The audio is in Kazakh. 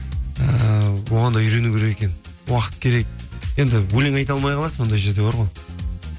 ііі оған да үйрену керек екен уақыт керек енді өлең айта алмай қаласың ондай жерде бар ғой